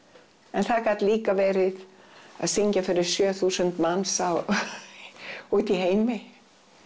en það gat líka verið að syngja fyrir sjö þúsund manns úti í heimi